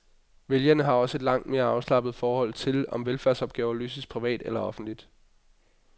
Vælgerne har også et langt mere afslappet forhold til, om velfærdsopgaver løses privat eller offentligt.